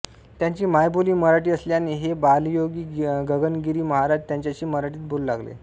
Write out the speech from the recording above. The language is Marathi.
त्यांची मायबोली मराठी असल्याने हे बालयोगी गगनगिरी महाराज त्यांच्याशी मराठीत बोलू लागले